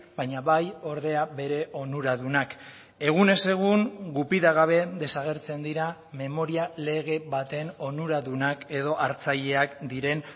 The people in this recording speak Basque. baina bai ordea bere onuradunak egunez egun gupida gabe desagertzen dira memoria lege baten onuradunak edo hartzaileak diren